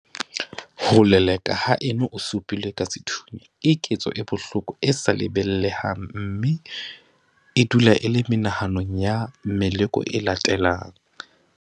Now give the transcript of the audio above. Ho lelekwa haeno o su pilwe ka sethunya keketso e bohloko e sa lebaleheng mme e dula e le menahanong ya meloko e latelang.